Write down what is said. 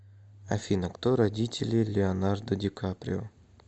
афина кто родители леонардо ди каприо